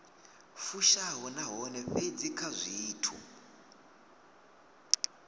fushaho nahone fhedzi kha zwithu